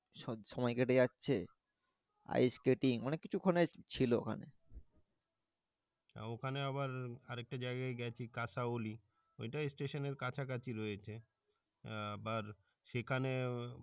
সময়ই কেটে যাচ্ছে ice skating অনেককিছু ওখানে ছিল ওখানে ওখানে আবার আর একটা জাইগাই গেছি Kasauli ওইটা station এর কাছাকাছি রয়েছে আবার সেখানে